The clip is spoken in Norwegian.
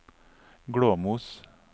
Glåmos